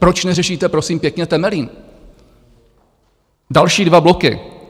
Proč neřešíte prosím pěkně Temelín, další dva bloky?